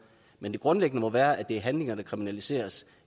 men det grundlæggende må være at det er handlinger der kriminaliseres